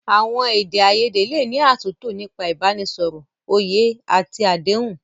Àwọn èdè àìyedè lè ní àtúntò nípa ìbánisọ̀rọ̀, òye àti àdéhùn.